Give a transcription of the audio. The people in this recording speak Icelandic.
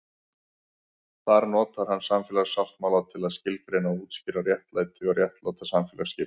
Þar notar hann samfélagssáttmála til að skilgreina og útskýra réttlæti og réttláta samfélagsskipan.